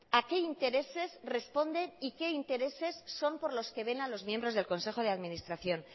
a qué intereses responde y qué intereses son por los que velan los miembros del consejo de administración